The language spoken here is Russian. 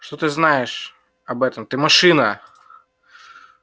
что ты знаешь об этом ты машина